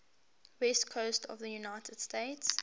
west coast of the united states